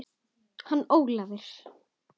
Hann Ólafur?